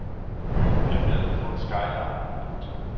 Byen er ved at få en skyline. punktum